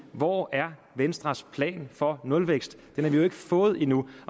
hvor er venstres plan for nulvækst den har vi jo ikke fået endnu